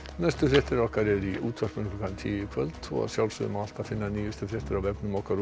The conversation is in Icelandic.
næstu fréttir okkar eru í útvarpinu klukkan tíu í kvöld og að sjálfsögðu má alltaf finna nýjustu fréttir á vefnum okkar